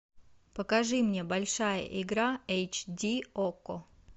покажи мне большая игра эйч ди окко